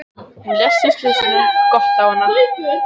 Hún lést í slysinu